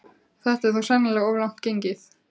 Þetta er þó sennilega of langt gengið.